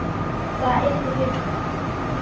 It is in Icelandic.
Það yrði mjög gott